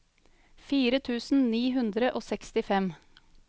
fire tusen ni hundre og sekstifem